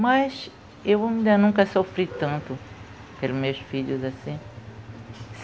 Mas eu ainda nunca sofri tanto pelos meus filhos assim.